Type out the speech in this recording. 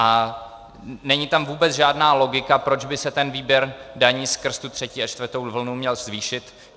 A není tam vůbec žádná logika, proč by se ten výběr daní skrz tu třetí a čtvrtou vlnu měl zvýšit.